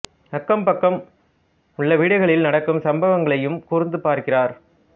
அக்கம் பக்கம் உள்ள வீடுகளில் நடக்கும் சம்பவங்களையும் கூர்ந்து பார்க்கிறார்